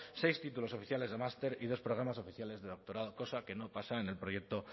seis títulos oficiales de master y dos programas oficiales de doctorado cosa que no pasa en el proyecto